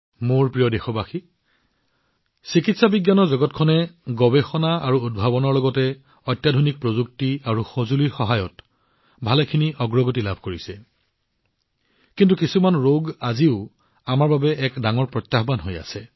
মোৰ মৰমৰ দেশবাসীসকল চিকিৎসা বিজ্ঞানৰ জগতখনে গৱেষণা আৰু উদ্ভাৱনৰ লগতে অত্যাধুনিক প্ৰযুক্তি আৰু সঁজুলিৰ সহায়ত যথেষ্ট অগ্ৰগতি লাভ কৰিছে কিন্তু কিছুমান ৰোগ আজিও আমাৰ বাবে এক ডাঙৰ প্ৰত্যাহ্বান হৈ আছে